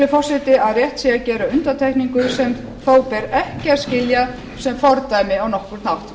forseti að rétt sé að gera undantekningu sem þó ber ekki að skilja sem fordæmi á nokkurn hátt